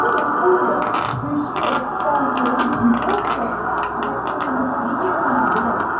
какого хуя включилась станция третьяковская а как только мы приехали блять